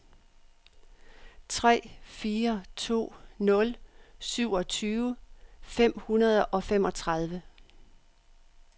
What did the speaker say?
tre fire to nul syvogtyve fem hundrede og femogtredive